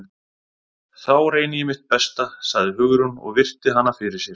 Þá reyni ég mitt besta- sagði Hugrún og virti hana fyrir sér.